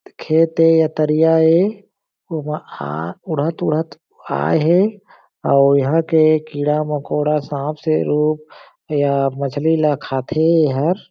खेत ए या तरिया ए ओमा आ उड़त-उड़त आए हे अउ इहा के कीड़ा मकोड़ा सांप से लोग या मछ्ली ला खाथे एहर --